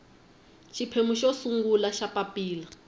xiphemu xo sungula xa papilla